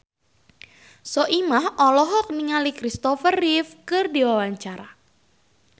Soimah olohok ningali Kristopher Reeve keur diwawancara